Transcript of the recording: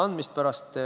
Indrek Saar, palun!